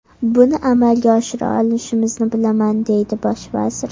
Buni amalga oshira olishimizni bilaman”, deydi bosh vazir.